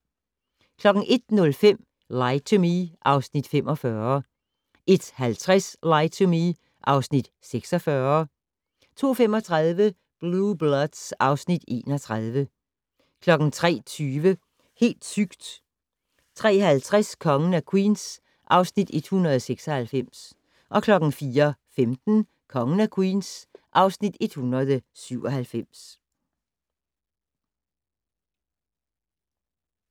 01:05: Lie to Me (Afs. 45) 01:50: Lie to Me (Afs. 46) 02:35: Blue Bloods (Afs. 31) 03:20: Helt sygt! 03:50: Kongen af Queens (Afs. 196) 04:15: Kongen af Queens (Afs. 197)